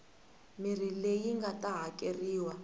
mirhi leyi nga ta hakeriwa